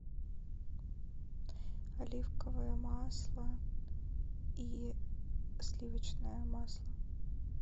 оливковое масло и сливочное масло